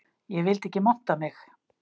Ég vildi ekki monta mig